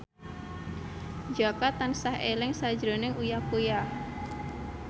Jaka tansah eling sakjroning Uya Kuya